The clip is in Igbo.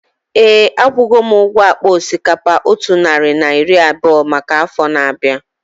Éè, akwugo m ụgwọ akpa osikapa otu narị na iri abụọ maka afọ na-abianu